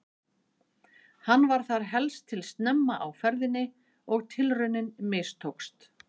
Hann var þar helst til snemma á ferðinni og tilraunin mistókst.